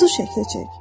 Quzu şəkli çək.